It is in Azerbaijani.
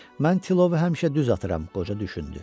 Mən tilovu həmişə düz atıram, qoca düşündü.